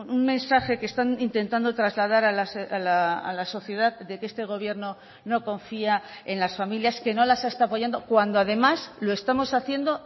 un mensaje que están intentando trasladar a la sociedad de que este gobierno no confía en las familias que no las está apoyando cuando además lo estamos haciendo